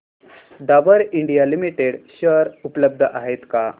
Dabur India limited share उपलब्ध आहेत का